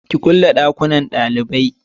ki kulle dakunnan dalibai!